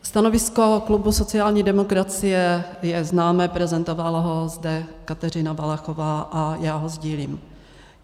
Stanovisko klubu sociální demokracie je známé, prezentovala ho zde Kateřina Valachová a já ho sdílím.